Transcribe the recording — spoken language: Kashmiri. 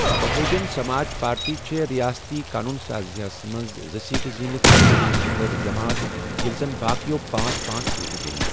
بہوجن سماج پارٹی چھے٘ رِیاستی قونون سازیہ ہس منز زٕ سیٹہٕ زینِتھ تر٘ییِم بٕڈ جمات ییلہِ زن باقیو پانژھ پانژھ سیٹہٕ زینہِ ۔